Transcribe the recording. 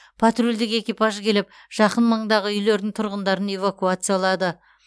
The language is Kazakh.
патрульдік экипаж келіп жақын маңдағы үйлердің тұрғындарын эвакуациялады